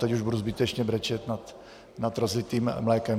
Teď už budu zbytečně brečet nad rozlitým mlékem.